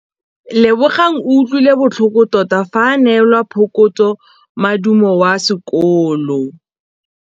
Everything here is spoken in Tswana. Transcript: Lebogang o utlwile botlhoko tota fa a neelwa phokotsômaduô kwa sekolong.